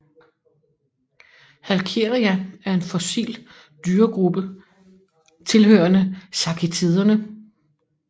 Halkieria er en fossil dyregruppe tilhørende sachitiderne